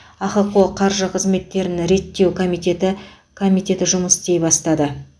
ахқо қаржы қызметтерін реттеу комитеті комитеті жұмыс істей бастады